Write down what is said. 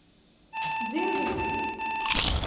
джинглики